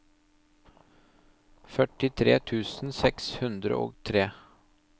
førtitre tusen seks hundre og tre